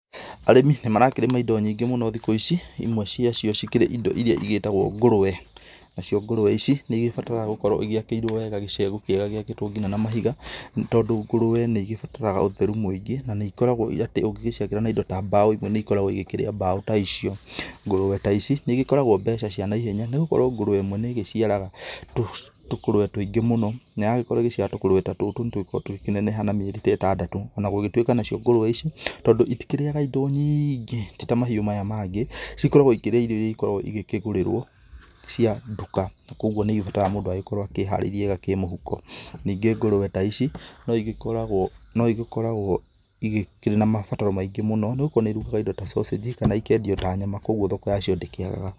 Arĩmi nĩ marakĩrĩma indo nyingĩ mũno thikũ ici ĩmwe ciacio cikĩrĩ ĩndo ĩria ĩgĩtagwo ngũrũwe. Nacio ngũrwe ici nĩ ĩgĩbataraga gũkorwo ĩgĩakĩirwo wega gĩcegũ kĩega gĩakĩtwo ngina na mahiga nĩ tondũ ngũrwe nĩ ĩgĩbataraga ũtheru mũingĩ na nĩ ĩgĩkoragwo atĩ ũngĩcikĩakĩra na ĩndo ta mbaũ nĩ ĩgĩkoragwo ĩgĩkĩrĩa mbaũ ta icio. Ngũrwe ta ici nĩ ĩgĩkoragwo mbeca cia naihenya nĩgũkorwo ngũrwe ĩmwe nĩ ĩgĩciaraga tũkũrwe tũingĩ mũno na yagĩkorwo ĩgĩciara tũkũrwe ta tũtũ nĩ tũgĩkoragwo tũgĩkĩneneha na mĩeri ta ĩtandatũ. Ona gũgĩtuĩka nacio ngũrwe ici tondũ ĩtikĩrĩyaga ĩndo nyingĩ tĩ ta mahĩũ maya mangĩ cikoragwo ĩkĩrĩa irio ĩria ĩgĩkĩgũrĩrwo cia nduka na koguo nĩ ĩgĩbataraga mũndũ agĩkorwo akĩharĩirie wega kĩmũhuko. Ningĩ ngũrwe ta ici no ĩgĩkoragwo ĩgĩkĩrĩ na mabataro maingĩ mũno nĩũkuona ĩrugaga ĩndo ta sausage kana ĩkendio ta nyama koguo thoko yacio ndĩkĩagaga.